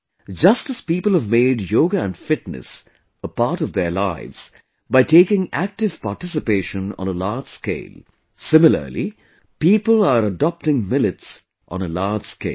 Just as people have made yoga and fitness a part of their lives by taking active participation on a large scale; similarly people are adopting millets on a large scale